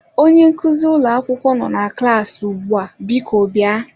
Onye nkuzi ụlọ akwụkwọ nọ na klas ugbu a, biko bịa.